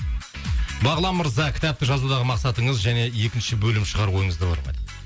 бағлан мырза кітапты жазудағы мақсатыңыз және екінші бөлім шығару ойыңызда бар ма дейді